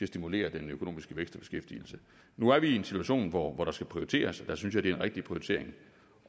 stimulere den økonomiske vækst og beskæftigelse nu er vi i en situation hvor der skal prioriteres og der synes jeg det er en rigtig prioritering